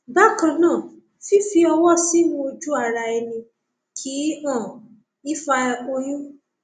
bákan náà fífi ọwọ sínú ojúara ẹni kì um í fa oyún